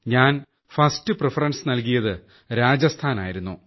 ഞാൻ first preference നൽകിയത് രാജസ്ഥാനായിരുന്നു